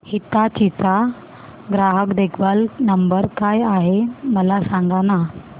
हिताची चा ग्राहक देखभाल नंबर काय आहे मला सांगाना